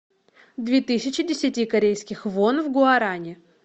две тысячи десяти корейских вон в гуарани